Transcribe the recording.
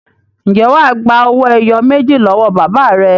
Ǹjẹ́ wà á gba owó ẹyọ méjì lọ́wọ́ bàbá rẹ?